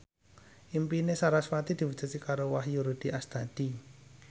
impine sarasvati diwujudke karo Wahyu Rudi Astadi